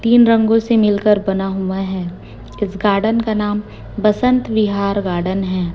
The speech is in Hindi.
तीन रंगों से मिलकर बना हुआ है इस गार्डन का नाम बसंत विहार गार्डन है।